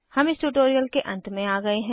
हम इस ट्यूटोरियल के अंत में आ गए हैं